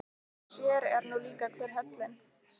Sér er nú líka hver höllin.